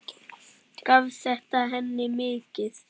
Gaf þetta henni mikið.